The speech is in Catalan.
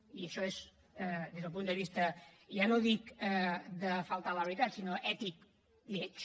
i això és des del punt de vista ja no dic de faltar a la veritat sinó ètic lleig